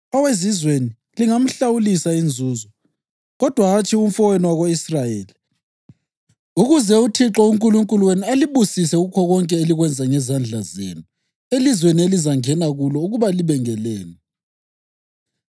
Owezizweni lingamhlawulisa inzuzo, kodwa hatshi umfowenu wako-Israyeli, ukuze uThixo uNkulunkulu wenu alibusise kukho konke elikwenza ngezandla zenu elizweni elizangena kulo ukuba libe ngelenu.